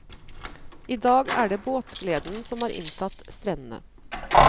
I dag er det båtgleden som har inntatt strendene.